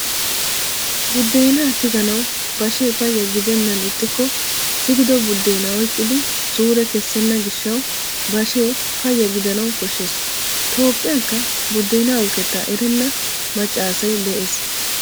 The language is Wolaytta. Buddeenaa tiganawu bashee payya gidennan ixxikko tigido buddeenaa oyqqidi suure kessenna gishshawu bashee payya gidanawu koshshees. Toophphiyanikka buddeenaa uukettaa erenna macca asay de"ees.